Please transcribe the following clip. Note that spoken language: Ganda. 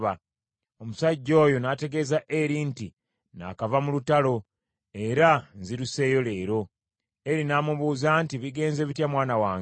Omusajja oyo n’ategeeza Eri nti, “Naakava mu lutalo, era nziruseeyo leero.” Eri n’amubuuza nti, “Bigenze bitya mwana wange?”